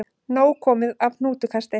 Nóg komið af hnútukasti